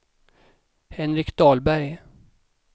Henrik Dahlberg